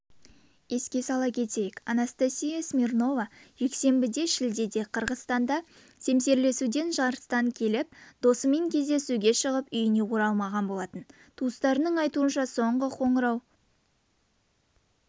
еске сала кетейік анастасия смирнова жексенбіде шілдеде қырғызстанда семсерлесуден жарыстан келіп досымен кездесуге шығып үйіне оралмаған болатын туыстарының айтуынша соңғы қоңырау